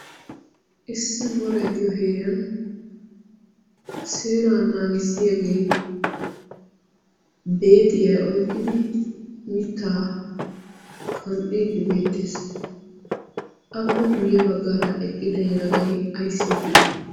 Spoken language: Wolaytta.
issi woray diyo heeriyan seera naawissiyaagee beexiyaa oiqqidi mitta qanxxiiddi beettees appe guyye baggaara eqqida yelagay ayssi eqqide